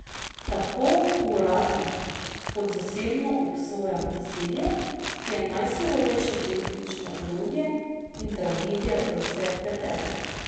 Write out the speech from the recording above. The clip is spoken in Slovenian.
Tako uradno kot zasebno obsojam nasilje, ki je najsurovejše politično orodje in tragedija za vse vpletene.